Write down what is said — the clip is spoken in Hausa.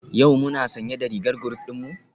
Yau muna sanye da rigar group dinmu?